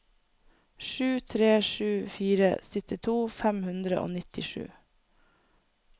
sju tre sju fire syttito fem hundre og nittisju